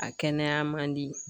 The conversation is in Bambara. A kɛnɛya man di